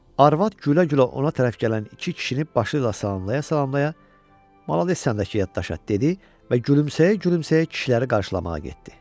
Arvad gülə-gülə ona tərəf gələn iki kişini başı ilə salamalaya-salamalaya “malades sən dəki yaddaşa” dedi və gülümsəyə-gülümsəyə kişiləri qarşılamağa getdi.